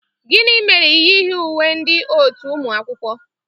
Gini mere i nyighi uwe ndị otu unu ụnyaahụ?